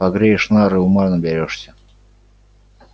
погреешь нары ума наберёшься